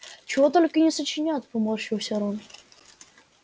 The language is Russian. чего только не сочинят поморщился рон